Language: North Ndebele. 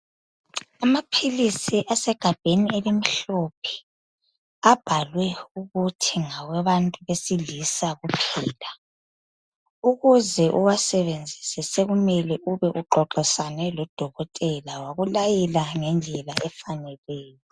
Amaphilisi asegabheni elimhlophe abhalwe ukuthi ngawabantu besilisa kuphela, ukuze uwasebenzise sekumele ube uxoxisane lodokotela wakulayela ngendlela efaneleyo